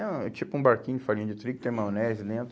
É um, é tipo um barquinho de farinha de trigo, tem maionese dentro.